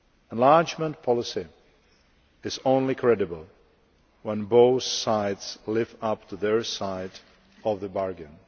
Enlargement policy is only credible when both sides live up to their side of the bargain.